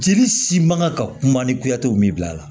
Jeli si man kan ka kuma ni goya tɛ o min bila la